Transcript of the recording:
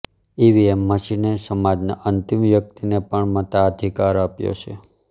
EVM મશીને સમાજના અંતિમ વ્યક્તિને પણ મતાધિકાર આપ્યો છે